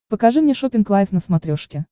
покажи мне шоппинг лайв на смотрешке